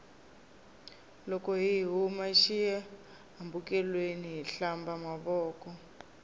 loko hi huma xi hambekelweni hi hlamba mavoko